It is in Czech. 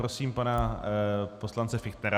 Prosím pana poslance Fichtnera.